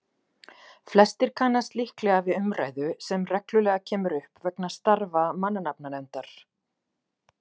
flestir kannast líklega við umræðu sem reglulega kemur upp vegna starfa mannanafnanefndar